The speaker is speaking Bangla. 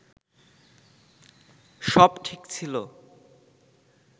সব ঠিক ছিল